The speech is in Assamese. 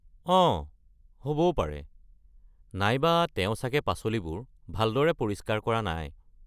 অঁ, হ’বও পাৰে, নাইবা তেওঁ চাগে পাচলিবোৰ ভালদৰে পৰিস্কাৰ কৰা নাই।